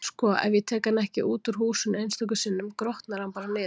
Sko, ef ég tek hann ekki út úr húsinu einstöku sinnum, grotnar hann bara niður.